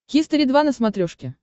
хистори два на смотрешке